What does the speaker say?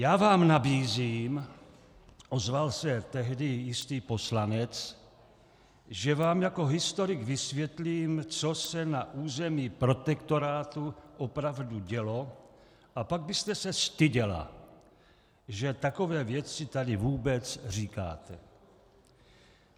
Já vám nabízím, ozval se tehdy jistý poslanec, že vám jako historik vysvětlím, co se na území protektorátu opravdu dělo, a pak byste se styděla, že takové věci tady vůbec říkáte.